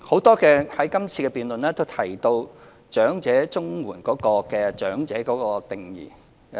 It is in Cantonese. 在今次辯論，多位議員提到長者綜援的長者定義。